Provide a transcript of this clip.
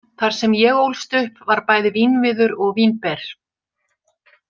Þar sem ég ólst upp var bæði vínviður og vínber